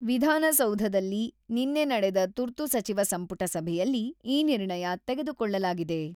ವಿಧಾನಸೌಧದಲ್ಲಿ ನಿನ್ನೆ ನಡೆದ ತುರ್ತು ಸಚಿವ ಸಂಪುಟ ಸಭೆಯಲ್ಲಿ ಈ ನಿರ್ಣಯ ತೆಗೆದುಕೊಳ್ಳಲಾಗಿದೆ.